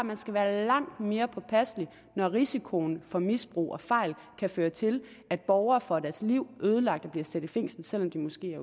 man skal være langt mere påpasselig når risikoen for misbrug og fejl kan føre til at borgere får deres liv ødelagt og bliver sat i fængsel selv om de måske